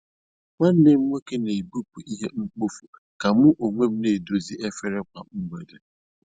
Nwanne m nwoke n'ebupụ ihe mkpofu, ka mu onwem n'edozi efere kwa mgbede.